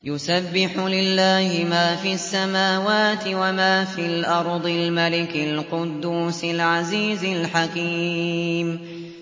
يُسَبِّحُ لِلَّهِ مَا فِي السَّمَاوَاتِ وَمَا فِي الْأَرْضِ الْمَلِكِ الْقُدُّوسِ الْعَزِيزِ الْحَكِيمِ